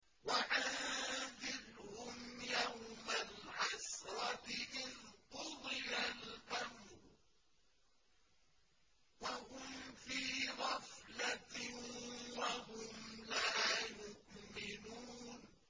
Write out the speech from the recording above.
وَأَنذِرْهُمْ يَوْمَ الْحَسْرَةِ إِذْ قُضِيَ الْأَمْرُ وَهُمْ فِي غَفْلَةٍ وَهُمْ لَا يُؤْمِنُونَ